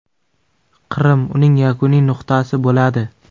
Qrim uning yakuniy nuqtasi bo‘ladi.